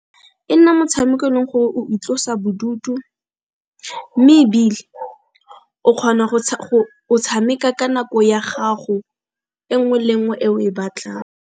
E nna motshameko o e leng gore o itlosa bodutu, mme ebile o kgona go tshameka ka nako ya gago e nngwe le nngwe eo e batlang.